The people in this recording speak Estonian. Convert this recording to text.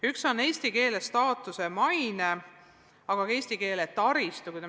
Üks on eesti keele staatus ja maine, teine on eesti keele taristu.